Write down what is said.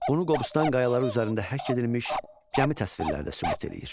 Bunu Qobustan qayaları üzərində həkk edilmiş gəmi təsvirləri də sübut eləyir.